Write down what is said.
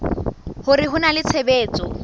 hore ho na le tshebetso